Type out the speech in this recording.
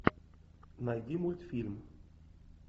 найди мультфильм